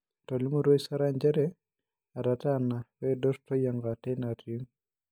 Etolimutuo Isara njere etataana peidur Toyianka teina tiim